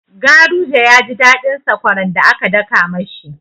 Garuje ya ji daɗin sakwaran da aka daka ma shi.